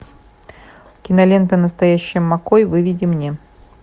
кинолента настоящий маккой выведи мне